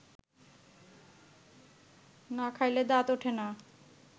না খাইলে দাঁত ওঠে না